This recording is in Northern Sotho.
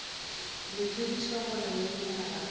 le tsebiša gore lenyaga ga